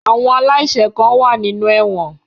Awon alaise kan wa ninu ẹwọn